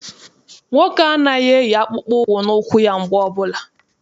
Nwoke a anaghị eyi akpụkpọ ụkwụ na ụkwụ ya mgbe ọbụla.